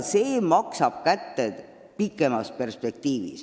Pikemas perspektiivis maksab see kätte.